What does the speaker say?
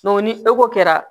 ni kɛra